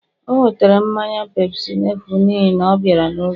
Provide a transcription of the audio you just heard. o nwetere mmanya pepsi n'efu n'ihi na ọ bịara n'oge